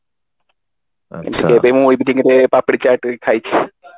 ଏବେ ମୁଁ ଏମିତି ପାମ୍ପୁଡି ଚାଟ ବି ଖାଇଛି